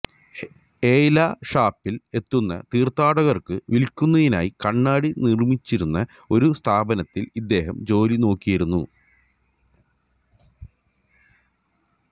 എയ് ലാ ഷാപ്പലിൽ എത്തുന്ന തീർഥാടകർക്കു വില്ക്കുന്നതിനായി കണ്ണാടി നിർമിച്ചിരുന്ന ഒരു സ്ഥാപനത്തിൽ ഇദ്ദേഹം ജോലിനോക്കിയിരുന്നു